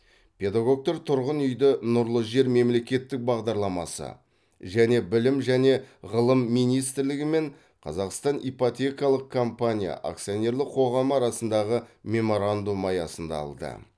педагогтар тұрғын үйді нұрлы жер мемлекеттік бағдарламасы және білім және ғылым министрлігі мен қазақстан ипотекалық компания акционерлік қоғамы арасындағы меморандум аясында алды